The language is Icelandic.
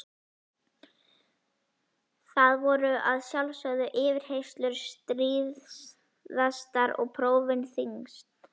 Þar voru að sjálfsögðu yfirheyrslur stríðastar og prófin þyngst.